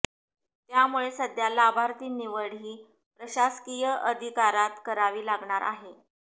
त्यामुळे सध्या लाभार्थी निवड ही प्रशासकीय अधिकारात करावी लागणार आहे